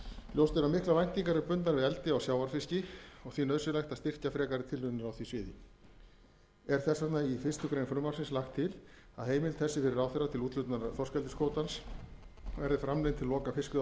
er að miklar væntingar eru bundnar við eldi á sjávarfiski og því nauðsynlegt að styrkja frekari tilraunir á því sviði er því í fyrstu grein frumvarpsins lagt til að heimild þessi fyrir ráðherra til úthlutunar þorskeldiskvótans verði framlengd til loka fiskveiðiársins